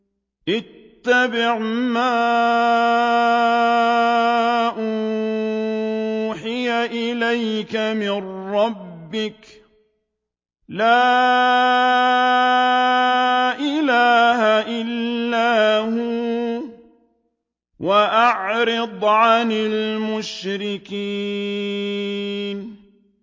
اتَّبِعْ مَا أُوحِيَ إِلَيْكَ مِن رَّبِّكَ ۖ لَا إِلَٰهَ إِلَّا هُوَ ۖ وَأَعْرِضْ عَنِ الْمُشْرِكِينَ